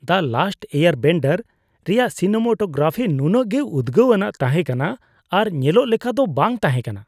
"ᱫᱟ Last Airbender" ᱼᱨᱮᱭᱟᱜ cinematography ᱱᱩᱱᱟᱹᱜ ᱜᱮ ᱩᱫᱽᱜᱟᱹᱣ ᱟᱱᱟᱜ ᱛᱟᱦᱮᱸ ᱠᱟᱱᱟ ᱟᱨ ᱧᱮᱞᱚᱜ ᱞᱮᱠᱟ ᱫᱚ ᱵᱟᱝ ᱛᱟᱦᱮᱸ ᱠᱟᱱᱟ ᱾